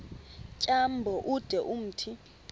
tyambo ude umthi